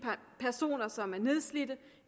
personer som er nedslidte